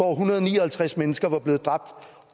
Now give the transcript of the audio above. hundrede og ni og halvtreds mennesker var blevet dræbt